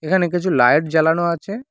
এখানে কিছু লাইট জ্বালানো আছে।